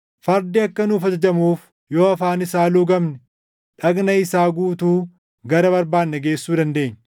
Fardi akka nuuf ajajamuuf yoo afaan isaa luugamne dhagna isaa guutuu gara barbaanne geessuu dandeenya.